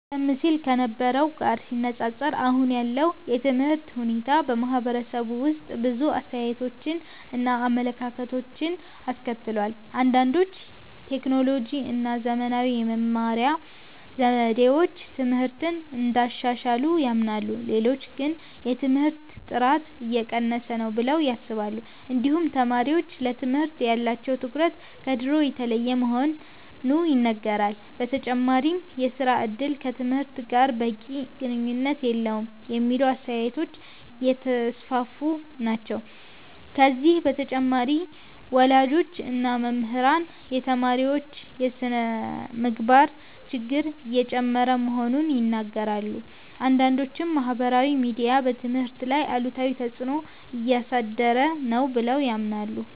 ቀደም ሲል ከነበረው ጋር ሲነፃፀር አሁን ያለው የትምህርት ሁኔታ በማህበረሰቡ ውስጥ ብዙ አስተያየቶችን እና አመለካከቶችን አስከትሏል። አንዳንዶች ቴክኖሎጂ እና ዘመናዊ የመማሪያ ዘዴዎች ትምህርትን እንዳሻሻሉ ያምናሉ። ሌሎች ግን የትምህርት ጥራት እየቀነሰ ነው ብለው ያስባሉ። እንዲሁም ተማሪዎች ለትምህርት ያላቸው ትኩረት ከድሮ የተለየ መሆኑ ይነገራል። በተጨማሪም የሥራ እድል ከትምህርት ጋር በቂ ግንኙነት የለውም የሚሉ አስተያየቶች እየተስፋፉ ናቸው። ከዚህ በተጨማሪ ወላጆች እና መምህራን የተማሪዎች የስነ-ምግባር ችግር እየጨመረ መሆኑን ይናገራሉ። አንዳንዶችም ማህበራዊ ሚዲያ በትምህርት ላይ አሉታዊ ተፅዕኖ እያሳደረ ነው ብለው ያምናሉ።